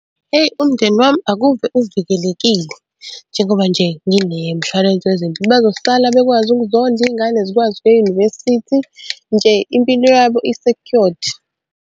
Hheyi umndeni wami akuve uvikelekile njengoba nje nginemshwalense wezempilo, bazosala bekwazi okuzondla iy'ngane zikwazi ukuya e-university, nje impilo yabo i-secured.